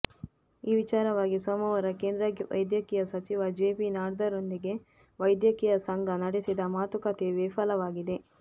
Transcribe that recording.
ಈ ವಿಚಾರವಾಗಿ ಸೋಮವಾರ ಕೇಂದ್ರ ವೈದ್ಯಕೀಯ ಸಚಿವ ಜೆಪಿ ನಡ್ಡಾರೊಂದಿಗೆ ವೈದ್ಯಕೀಯ ಸಂಘ ನಡೆಸಿದ ಮಾತುಕತೆಯೂ ವಿಫಲವಾಗಿದೆ